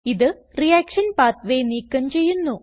ഇത് reaction pathway നീക്കം ചെയ്യുന്നു